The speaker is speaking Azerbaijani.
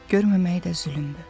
Görməmək də zülmdür.